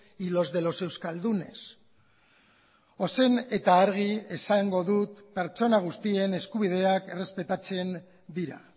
y los de los euskaldunes ozen eta argi esango dut pertsona guztien eskubideak errespetatzen dira